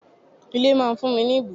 Ilé máa fún mi ni ibùgbé.